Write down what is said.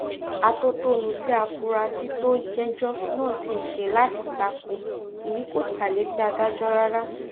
àtòtọ́nú tí afurasí tó ń jẹ́jọ́ náà sì ṣe láti ta ko èyí kò ta létí adájọ́ rárá